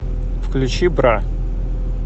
включи бра